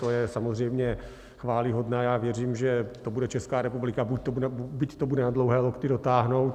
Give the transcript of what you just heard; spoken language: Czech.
To je samozřejmě chvályhodné a věřím, že to bude Česká republika, byť to bude na dlouhé lokty, dotáhnout.